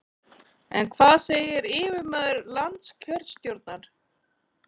En hvað segir yfirmaður landskjörstjórnar?